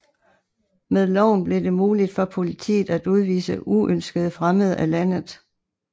Med loven blev det muligt for politiet at udvise uønskede fremmede af landet